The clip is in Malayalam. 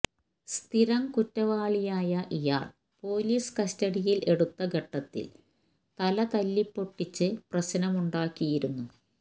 സ്ഥിരം കുറ്റവാളിയായ ഇയാൾ പോലീസ് കസ്റ്റഡിയിൽ എടുത്ത ഘട്ടത്തിൽ തലതല്ലിപ്പൊട്ടിച്ച് പ്രശ്നമുണ്ടാക്കിയിരുന്നു